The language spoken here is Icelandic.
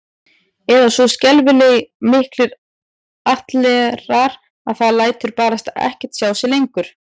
Eða svo skelfing miklir ættlerar að það lætur barasta ekkert sjá sig lengur